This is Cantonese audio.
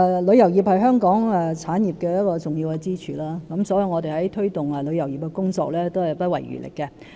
旅遊業是香港重要的支柱產業之一，因此我們在推動旅遊業的工作上也不遺餘力。